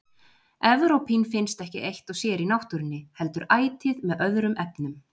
Evrópín finnst ekki eitt og sér í náttúrunni heldur ætíð með öðrum efnum.